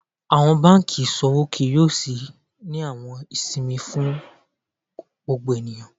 Awọn banki iṣowo kii yoo ṣii ni awọn isinmi fún gbogbo eniyan.